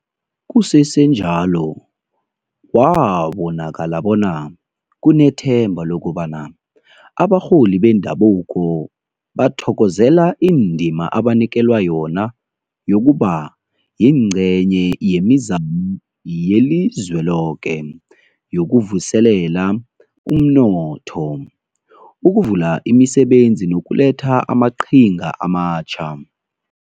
Kusesenjalo kwabonakala bona kunethemba lokobana abarholi bendabuko bathokozela indima abanikelwa yona yokuba yingcenye yemizamo yelizweloke yokuvuselela umnotho, ukuvula imisebenzi nokuletha amaqhinga amatjha.